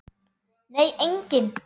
Nei, enginn